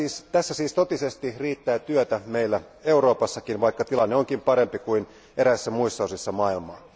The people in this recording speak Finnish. Tässä siis totisesti riittää työtä meillä Euroopassakin, vaikka tilanne onkin parempi kuin eräissä muissa osissa maailmaa.